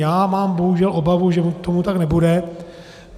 Já mám bohužel obavu, že tomu tak nebude.